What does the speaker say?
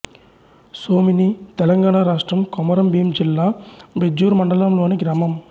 సోమిని తెలంగాణ రాష్ట్రం కొమరంభీం జిల్లా బెజ్జూర్ మండలంలోని గ్రామం